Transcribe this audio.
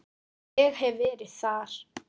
Ég hef verið þar.